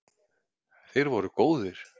Þeir voru góðir.